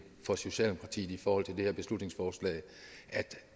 for socialdemokratiet i forhold til det her beslutningsforslag